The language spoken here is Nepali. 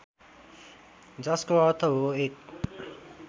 जसको अर्थ हो एक